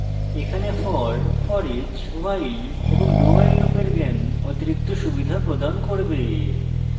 এখানে for foreach while এবং dowhile লুপের জ্ঞান অতিরিক্ত সুবিধা প্রদান করবে